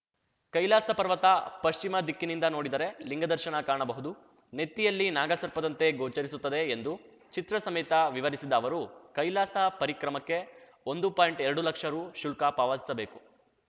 ಕೈಲಾಸ ಪರ್ವತ ಪಶ್ಚಿಮದಿಕ್ಕಿನಿಂದ ನೋಡಿದರೆ ಲಿಂಗದರ್ಶನ ಕಾಣಬಹುದು ನೆತ್ತಿಯಲ್ಲಿ ನಾಗಸರ್ಪದಂತೆ ಗೋಚರಿಸುತ್ತದೆ ಎಂದು ಚಿತ್ರಸಮೇತ ವಿವರಿಸಿದ ಅವರು ಕೈಲಾಸ ಪರಿಕ್ರಮಕ್ಕೆ ಒಂದು ಪಾಯಿಂಟ್ಎರಡು ಲಕ್ಷ ರೂಶುಲ್ಕ ಪಾವತಿಸಬೇಕು